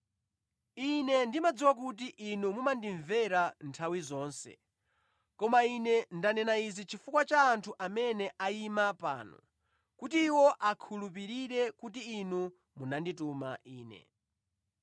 Ine ndimadziwa kuti Inu mumandimvera nthawi zonse, koma Ine ndanena izi chifukwa cha anthu amene ayima pano, kuti iwo akhulupirire kuti Inu munandituma Ine.”